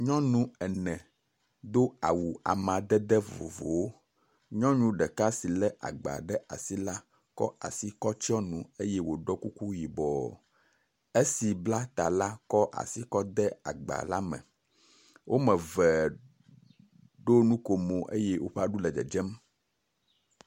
Nyɔnu ene do awu amadede vovovowo, nyɔnu ɖeka si lé agba ɖe asi la kɔ asi ɖeka tsɔ nu eye woɖɔ kuku yibɔ. Esi bla ta la kɔ asi kɔ de agba la me. Wome eve ɖo nukome yee woƒe aɖu le dzedzem.